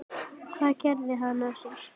Hvað gerði hann af sér?